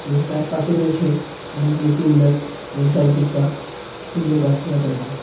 এবং তার পাশে রয়েছে অনেকগুলো টু হুইলার্স এবং চারিদিকটা সুন্দর গাছপালা দিয়ে ঢাকা.